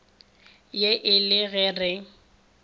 ye e le ge re